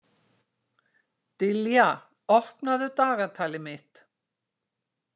Dilja, opnaðu dagatalið mitt.